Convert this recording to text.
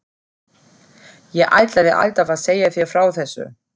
Ég ætlaði alltaf að segja þér frá þessu.